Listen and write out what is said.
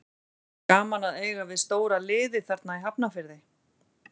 Gaman að eiga við stóra liðið þarna í Hafnarfirði.